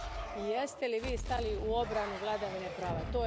I jeste li vi stali u obranu vladavine prava?